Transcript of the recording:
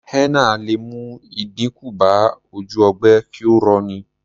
Henna lè mú ìdínkù bá ojú ogbe kí ó rọ ní.